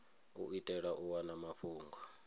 u itela u wana mafhungo